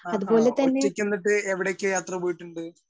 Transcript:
Speaker 1 ആഹാ ഒറ്റക്ക് എന്നിട്ട് എവിടെയൊക്കെ യാത്ര പോയിട്ടുണ്ട്?